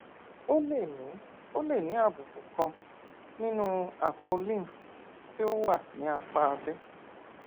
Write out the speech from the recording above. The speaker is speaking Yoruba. o lè ní o lè ní àbùkù kan nínú àpò lymph tí ó wà ní apá abẹ